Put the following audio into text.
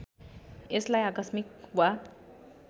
यसलाई आकस्मिक वा